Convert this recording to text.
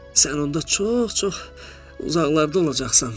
Sən onda çox-çox uzaqlarda olacaqsan.